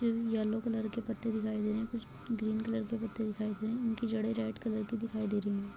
Yellow colour के पत्ते दिखाई दे रहे है कुछ ग्रीन कलर के पत्ते दिखाई दे रहे है उनकी जड़े रेड कलर की दिखाई दे रही हैं।